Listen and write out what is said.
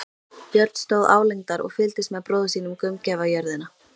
Björn stóð álengdar og fylgdist með bróður sínum gaumgæfa jörðina.